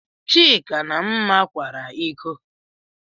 Chika na Mma kwara ịkọ.